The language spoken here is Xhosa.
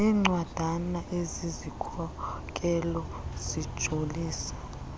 zencwadana ezizikhokelo zijolise